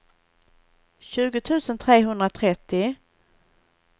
tjugo tusen trehundratrettio